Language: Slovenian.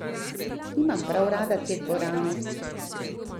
Nimam prav rad te dvorane!